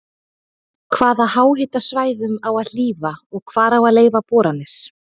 Hvaða háhitasvæðum á að hlífa og hvar á að leyfa boranir?